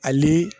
Ani